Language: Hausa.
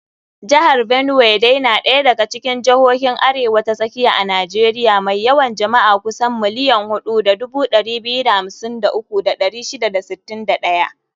Jihar Benue dai na daya daga cikin jihohin Arewa ta Tsakiya a Najeriya mai yawan jama'a kusan 4,253,641.